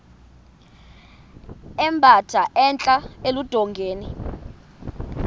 emba entla eludongeni